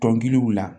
Dɔnkiliw la